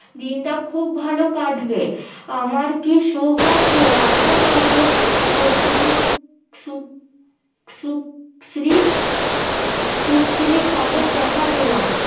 দিনটা খুব ভালো কাটবে আমার কি সৌভাগ্য আপনার মতো সুশ্রী সুশ্রী কাকের দেখা পেলাম